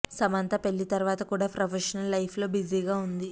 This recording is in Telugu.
సమంత పెళ్లి తరువాత కూడా ప్రొఫెషనల్ లైఫ్ లో బిజీగా ఉంది